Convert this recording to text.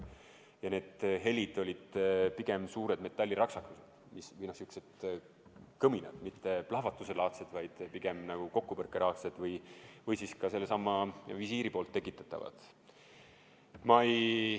Ja need helid olid pigem suured metalliraksakad, sihukesed kõminad, mitte plahvatuselaadsed, vaid pigem nagu kokkupõrkelaadsed või ka sellesama visiiri poolt tekitatavad.